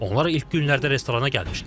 Onlar ilk günlərdə restorana gəlmişdilər.